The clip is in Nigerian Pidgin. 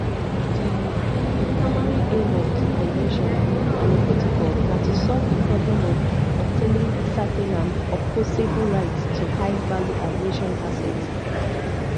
di di primary aim of di convention and di protocol na to solve di problem of obtaining certain and opposable rights to highvalue aviation assets